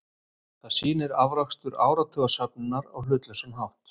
Það sýnir afrakstur áratuga söfnunar á hlutlausan hátt.